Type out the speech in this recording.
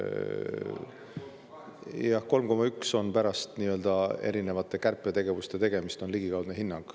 Jah, see 3,1 on ligikaudne hinnang pärast nii-öelda erinevaid kärpetegevusi.